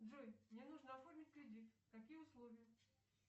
джой мне нужно оформить кредит какие условия